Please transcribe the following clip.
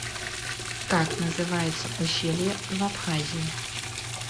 как называется ущелье в абхазии